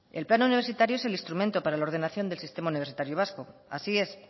el plan universitario es el instrumento para la ordenación del sistema universitario vasco así es